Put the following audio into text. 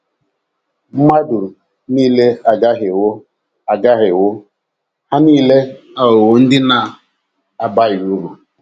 Mmadụ nile agahiewo agahiewo, ha nile aghọwo ndị na - abaghị uru. ”